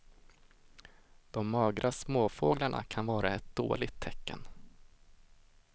De magra småfåglarna kan vara ett dåligt tecken.